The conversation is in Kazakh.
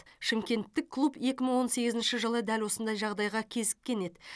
шымкенттік клуб екі мың он сегізінші жылы дәл осындай жағдайға кезіккен еді